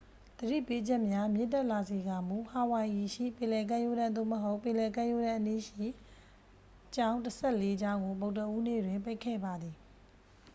သတိပေးချက်များမြင့်တက်လာစေကာမူ ဟာဝိုင်အီရှိ ပင်လယ်ကမ်းရိုးတန်း သို့မဟုတ် ပင်လယ်ကမ်းရိုးတန်းအနီးရှိ ကျောင်းတစ်ဆယ့်လေးကျောင်းကို ဗုဒ္ဓဟူးနေ့တွင် ပိတ်ခဲ့ပါသည်